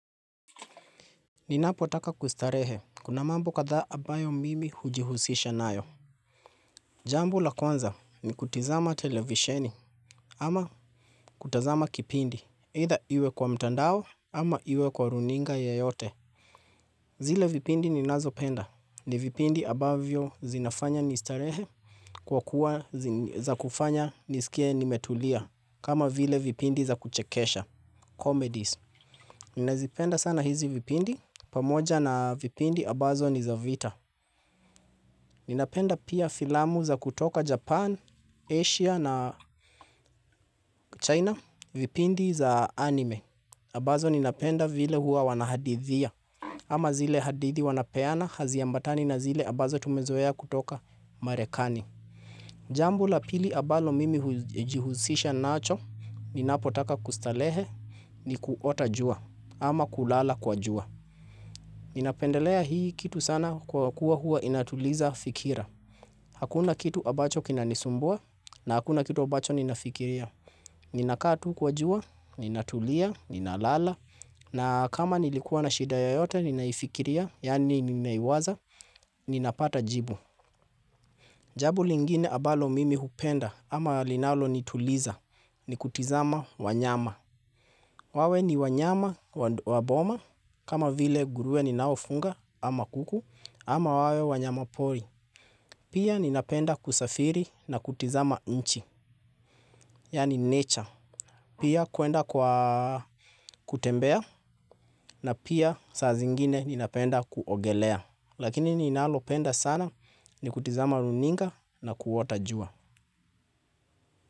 Ninapotaka kustarehe. Kuna mambo kathaa ambayo mimi hujihusisha nayo. Jambo la kwanza ni kutizama televisheni ama kutazama kipindi. Either iwe kwa mtandao ama iwe kwa runinga yoyote. Zile vipindi ni nazopenda. Ni vipindi ambavyo zinafanya nistarehe kwa kuwa za kufanya nisikie ni metulia. Kama vile vipindi za kuchekesha. Comedies. Ninazipenda sana hizi vipindi. Pamoja na vipindi ambazo ni za vita. Ninapenda pia filamu za kutoka Japan, Asia na China vipindi za anime. Ambazo ninapenda vile hua wanahadithia ama zile hadithi wanapeana haziambatani na zile ambazo tumezoea kutoka Marekani. Jambo la pili ambalo mimi hujihusisha nacho ninapotaka kustarehe ni kuota jua ama kulala kwa jua. Ninapendelea hii kitu sana kwa kuwa huwa inatuliza fikira. Hakuna kitu ambacho kina nisumbua na hakuna kitu ambacho ninafikiria. Ninakaa tu kwa jua, ninatulia, ninalala, na kama nilikuwa na shida ya yote, ninaifikiria, yaani nimeiwaza, ninapata jibu. Jambo lingine ambalo mimi hupenda ama linalo nituliza ni kutizama wanyama. Wawe ni wanyama waboma kama vile nguruwe ni naofunga ama kuku ama wawe wanyama pori. Pia ninapenda kusafiri na kutizama nchi, yaani nature. Pia kuenda kwa kutembea na pia saa zingine ninapenda kuogelea. Lakini ninalo penda sana ni kutizama runinga na kuota jua.